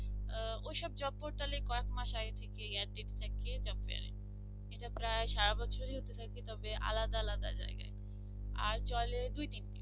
ওসব job portal কয়েক মাস আগে থেকে add দিতে থাকে job fair এ এটা প্রায় সারা বছরে হতে থাকে তবে আলাদা আলাদা জায়গায় আর চলে দুই দিন